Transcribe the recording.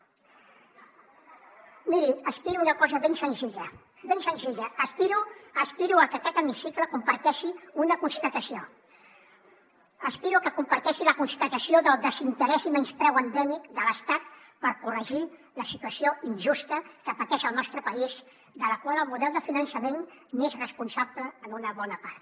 miri aspiro a una cosa ben senzilla ben senzilla aspiro a que aquest hemicicle comparteixi una constatació aspiro a que comparteixi la constatació del desinterès i menyspreu endèmic de l’estat per corregir la situació injusta que pateix el nostre país de la qual el model de finançament n’és responsable en una bona part